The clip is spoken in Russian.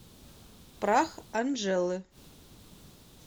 прах анжелы